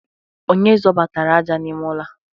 Onye zọbatara aja n'ime ụlọ a?